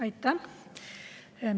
Aitäh!